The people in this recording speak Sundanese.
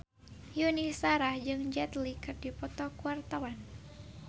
Yuni Shara jeung Jet Li keur dipoto ku wartawan